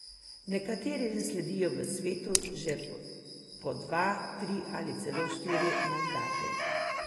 Nekateri le sedijo v svetu že po dva, tri ali celo štiri mandate.